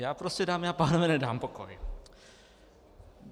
Já prostě, dámy a pánové, nedám pokoj.